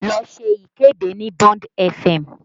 Lọ ṣe ìkéde ní Bond fm!